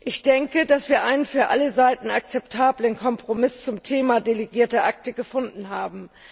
Ich denke, dass wir einen für alle Seiten akzeptablen Kompromiss zum Thema delegierte Akte gefunden haben.